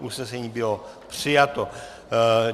Usnesení bylo přijato.